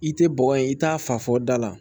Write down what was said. I tɛ bɔgɔ ye i t'a fa fɔ da la